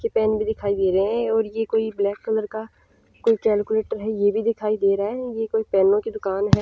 के पेन भी दिखाई दे रहे हैं और ये कोई ब्लैक कलर का कोई कैलकुलेटर है ये भी दिखाई दे रहा है ये कोई पेन की दुकान है।